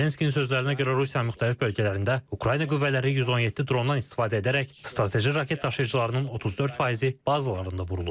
Zelenskinin sözlərinə görə Rusiyanın müxtəlif bölgələrində Ukrayna qüvvələri 117 drondan istifadə edərək strateji raket daşıyıcılarının 34%-i bazalarında vurulub.